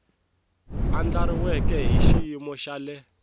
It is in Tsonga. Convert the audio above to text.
andlariweke hi xiyimo xa le